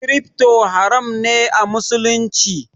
Crypto haram ne a musulunci